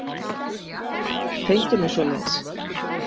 Tengja mig svoleiðis.